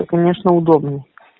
то конечно удобно